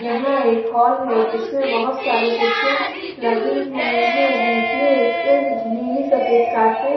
यहाँ एक हॉल है जिसमे बहुत सारी कुर्सियां लगी हुई है बीच मे एक नीली सफेद कारपे--